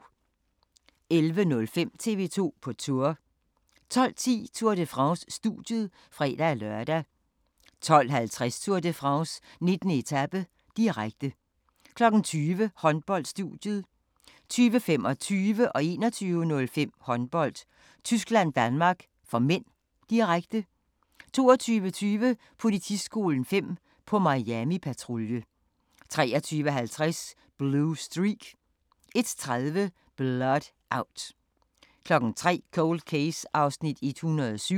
11:05: TV 2 på Tour 12:10: Tour de France: Studiet (fre-lør) 12:50: Tour de France: 19. etape, direkte 20:00: Håndbold: Studiet 20:25: Håndbold: Tyskland-Danmark (m), direkte 21:05: Håndbold: Tyskland-Danmark (m), direkte 22:20: Politiskolen 5 – på Miami-patrulje 23:50: Blue Streak 01:30: Blood Out 03:00: Cold Case (107:156)